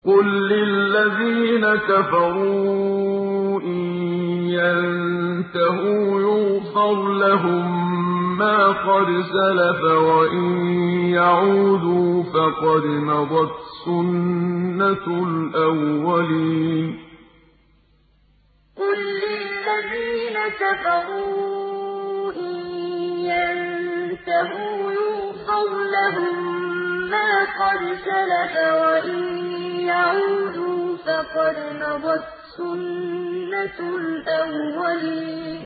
قُل لِّلَّذِينَ كَفَرُوا إِن يَنتَهُوا يُغْفَرْ لَهُم مَّا قَدْ سَلَفَ وَإِن يَعُودُوا فَقَدْ مَضَتْ سُنَّتُ الْأَوَّلِينَ قُل لِّلَّذِينَ كَفَرُوا إِن يَنتَهُوا يُغْفَرْ لَهُم مَّا قَدْ سَلَفَ وَإِن يَعُودُوا فَقَدْ مَضَتْ سُنَّتُ الْأَوَّلِينَ